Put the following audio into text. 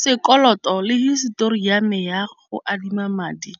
Sekoloto le hisetori ya me ya go adima madi